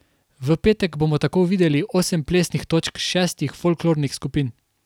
V petek bomo tako videli osem plesnih točk šestih folklornih skupin.